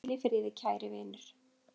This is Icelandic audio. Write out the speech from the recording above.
Hvíl í friði, kæri vinur!